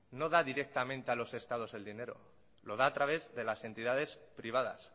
no da directamente a los estados el dinero lo da a través de las entidades privadas